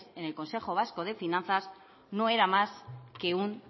en el consejo vasco de finanzas no era más que un